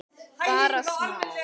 Bara smá.